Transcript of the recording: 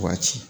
Waa ci